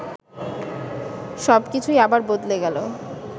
সব কিছুই আবার বদলে গেল